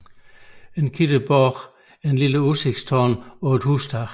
En kikkenborg er et lille udsigtstårn på et hustag